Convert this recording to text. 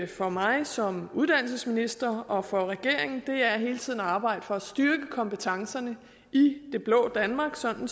for mig som uddannelsesminister og for regeringen er hele tiden at arbejde for at styrke kompetencerne i det blå danmark sådan